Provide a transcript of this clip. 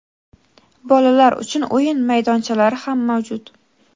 bolalar uchun o‘yin maydonchalari ham mavjud.